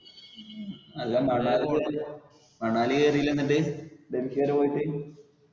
അല്ല മണാലി പോയിട്ടില്ല മണാലി കേറില്ല എന്നിട്ട്. ഡൽഹി വരെ പോയിട്ട്?